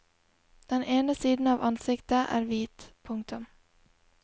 Den ene siden av ansiktet er hvit. punktum